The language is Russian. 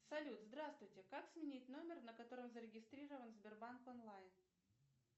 салют здравствуйте как сменить номер на котором зарегистрирован сбербанк онлайн